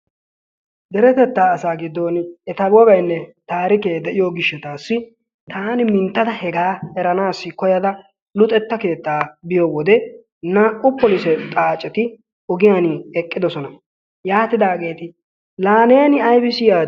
Deretettaa asa giddon eta wogaynne taarikke de'iyo gishshatassi taan minttada hega eranaassi koyyada luxetta keettaa biyo wode naa''u polisse xaacceti ogiyaan eqqidoosona. Yaatidaageeti la neeni aybissi yaadi?